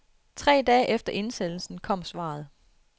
Tre dage efter indsendelsen kommer svaret.